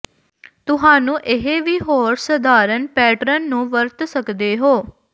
ਤੁਹਾਨੂੰ ਇਹ ਵੀ ਹੋਰ ਸਧਾਰਨ ਪੈਟਰਨ ਨੂੰ ਵਰਤ ਸਕਦੇ ਹੋ